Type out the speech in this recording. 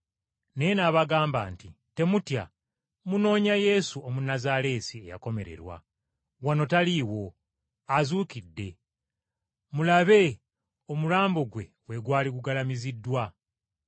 Naye n’abagamba nti, “Temutya. Munoonya Yesu, Omunnazaaleesi eyakomererwa. Wano taliiwo! Azuukidde. Mulabe, omulambo gwe we gwali gugalamiziddwa.